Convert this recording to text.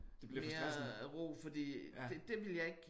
Mere ro fordi det det ville jeg ikke